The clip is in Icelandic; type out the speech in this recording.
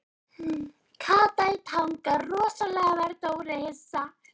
Kata í Tanga Rosalega varð Dóri hissa.